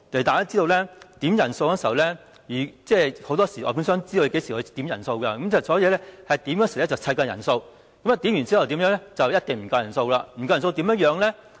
大家知道，很多時外判商知道甚麼時候會點人數，所以，點算人數的時候會湊夠人數，點算後一定沒有足夠人數，不夠人數又怎樣呢？